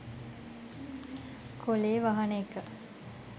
කොලේ වහන එක.